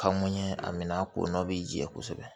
Ka mun ɲɛ a minɛ a ko nɔ bi jɛ kosɛbɛ